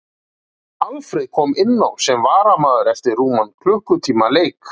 Alfreð kom inn á sem varamaður eftir rúman klukkutíma leik.